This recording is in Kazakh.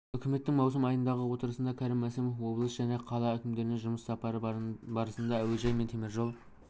үкіметтің маусым айындағы отырысында кәрім мәсімов облыс және қала әкімдеріне жұмыс сапары барысында әуежай мен теміржол